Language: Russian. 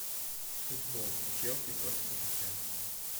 футбол челси против тоттенхэма